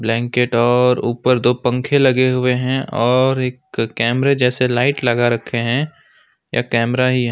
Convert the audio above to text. Blanket और ऊपर दो पंखे लगे हुए हैं और एक कैमरे जैसे लाइट लगा रखे हैं या कैमरा ही है।